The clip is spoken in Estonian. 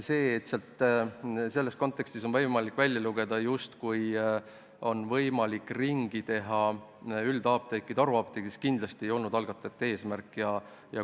See, et siit on võimalik välja lugeda, justkui saaks üldapteeke haruapteegiks ringi teha, ei ole kindlasti olnud algatajate eesmärk.